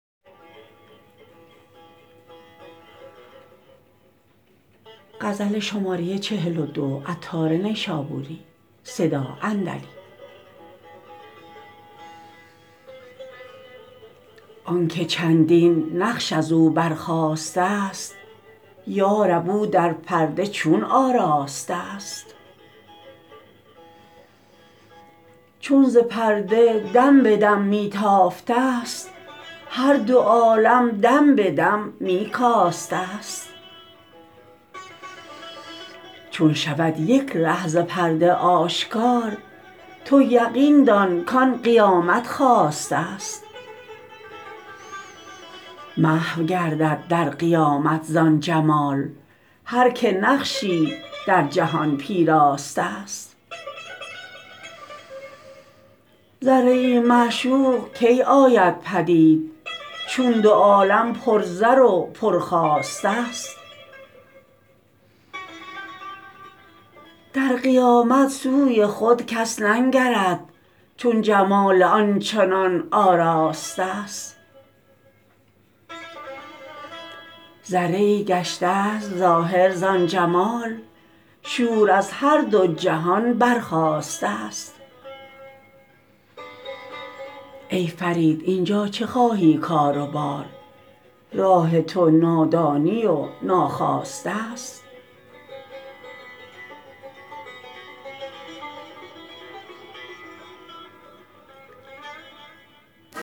آنکه چندین نقش ازو برخاسته است یارب او در پرده چون آراسته است چون ز پرده دم به دم می تافته است هر دو عالم دم به دم می کاسته است چون شود یک ره ز پرده آشکار تو یقین دان کان قیامت خاسته است محو گردد در قیامت زان جمال هر که نقشی در جهان پیراسته است ذره ای معشوق کی آید پدید چون دو عالم پر زر و پر خواسته است در قیامت سوی خود کس ننگرد چون جمال آن چنان آراسته است ذره ای گشت است ظاهر زان جمال شور از هر دو جهان برخاسته است ای فرید اینجا چه خواهی کار و بار راه تو نادانی و ناخواسته است